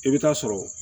I bɛ taa sɔrɔ